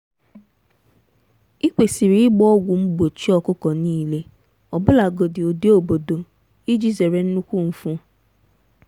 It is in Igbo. ị kwesịrị ịgba ọgwụ mgbochi ọkụkọ niile ọbụlagodi ụdị obodo iji zere nnukwu mfu.